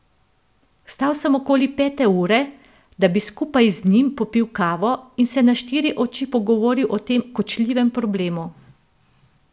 Vstal sem okoli pete ure, da bi skupaj z njim popil kavo in se na štiri oči pogovoril o tem kočljivem problemu.